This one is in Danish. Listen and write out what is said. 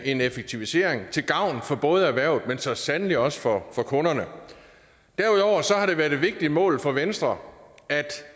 en effektivisering til gavn for både erhvervet men så sandelig også for kunderne derudover har det været et vigtigt mål for venstre